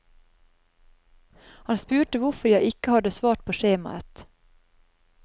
Han spurte hvorfor jeg ikke hadde svart på skjemaet.